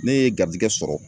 Ne ye garizigɛ sɔrɔ